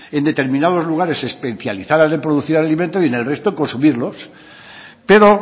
en determinados lugares se especializaran en producir alimento y en el resto consumirlos pero